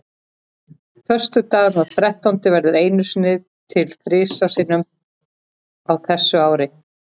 Föstudagurinn þrettándi verður einu sinni til þrisvar sinnum á ári.